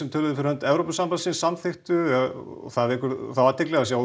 töluðu fyrir hönd Evrópusambandsins samþykktu og það vekur því athygli að sjá